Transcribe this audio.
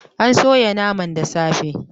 An soya naman da safe